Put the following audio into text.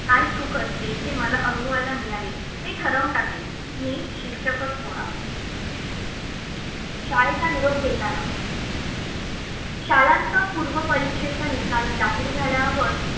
काय सुख असते? ते मला अनुभवायला मिळाले. मी ठरवून टाकले, मी शिक्षकच होणार. शाळेचा निरोप घेताना शालांत पूर्व परीक्षेचा निकाल जाहीर झाल्यावर